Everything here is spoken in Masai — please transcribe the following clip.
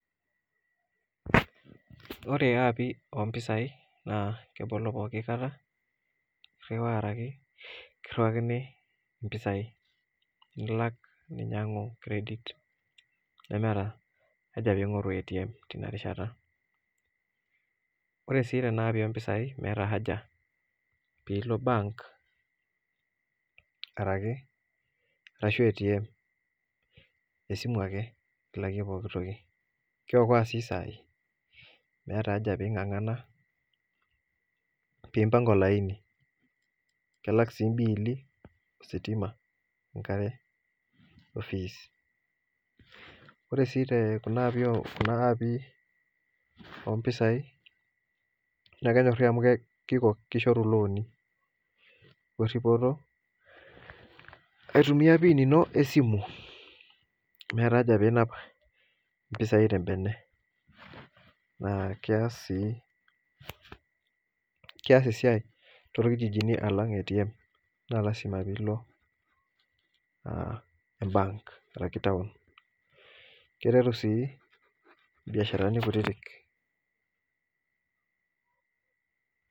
ore api ompisai na kebolo pooki kaata, iriwa ake kiriwakini impisai, nilak ninyiangu credit nemeeta haja pingoru ATM tinakata rishata, ore si tena apii ompisai meeta haja pilo bank ashu atm esimu ake ilakie pooki toki, kiokoa si sai, meeta haja peingangana peimbanga olaini, kelak si imbill ositima enkare, ofis ore si kuna api ompisai na kenyori amu kiko kishoru iloni, weripoto aitumia pin ino esimu, meeta haja peinap mpisai tembene na kias si esiai tolkijijini alang atm, me lasima pilo aah bank arashu town, kiteru si imbiasharani kutitik.